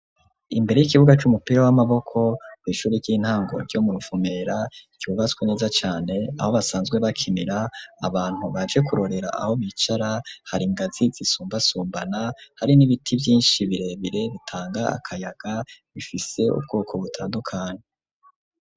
Imbere y'ikibuga c'umupira w'amaboko ku ishuri ry'intango ryo mu Ruvumera ryubatswe neza cane aho basanzwe bakinira abantu baje kurorera aho bicara hari ingazi zisumbasumbana hari n'ibiti vyinshi birebire bitanga akayaga bifise ubwoko butandukanye.